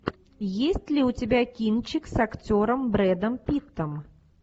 есть ли у тебя кинчик с актером брэдом питтом